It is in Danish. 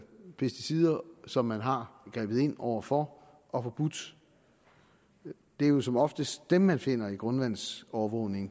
pesticider som man har grebet ind over for og forbudt det er jo som oftest dem man finder i grundvandsovervågningen